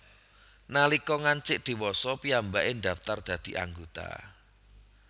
Nalika ngancik dhewasa piyambaké ndaftar dadi anggota